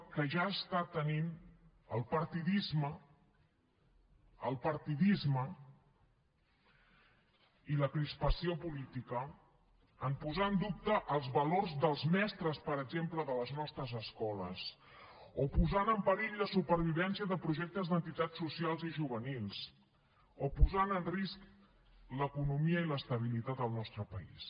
que ja els està tenint del partidisme el partidisme i la crispació política en posar en dubte els valors dels mestres per exemple de les nostres escoles o posant en perill la supervivència de projectes d’entitats socials i juvenils o posant en risc l’economia i l’estabilitat al nostre país